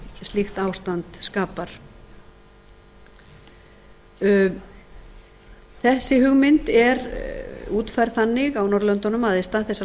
slíkt ástand skapar þessi hugmynd er útfærð þannig á norðurlöndunum að í stað þess að